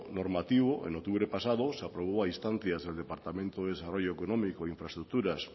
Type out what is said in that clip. normativo en octubre pasado se aprobó a instancias del departamento de desarrollo económico e infraestructuras